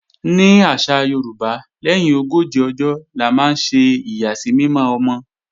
Ní àṣà Yorùbá, lẹ́yìn ogójì ọjọ́ la máa ń ṣe ìyàsímímọ́ ọmọ